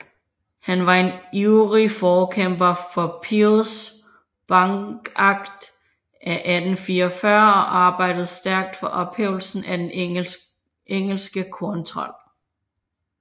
Han var en ivrig forkæmper for Peels bankakt af 1844 og arbejdede stærkt for ophævelsen af den engelske korntold